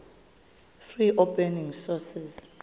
free open source